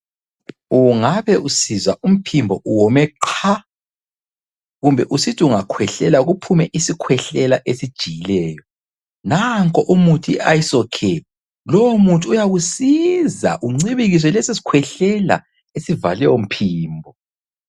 Ungabe usizwa umphimbo uwome qha, kumbe usithi ungakhwehlela kuphume isikhwehlela esijiyileyo. Nanko umuthi i Iso care. Lowo muthi uyakusiza uncibilikise leso sikhwehlela esivale umphimbo.